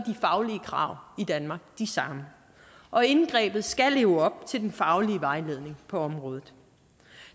faglige krav i danmark de samme og indgrebet skal leve op til den faglige vejledning på området